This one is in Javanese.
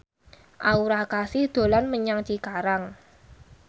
Aura Kasih dolan menyang Cikarang